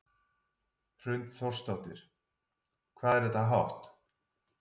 Hrund Þórsdóttir: Hvað er þetta hátt?